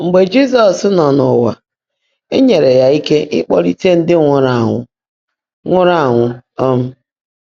Mgbe Jị́zọ́s nọ́ n’ụ́wà, é nyèèré yá íke ị́kpọ́lị́tè ndị́ nwụ́rụ́ ánwụ́. nwụ́rụ́ ánwụ́. um